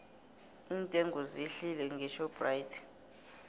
iintengo zehlile ngeshoprite